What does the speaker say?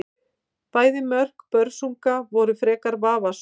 Bæði mörk Börsunga voru frekar vafasöm.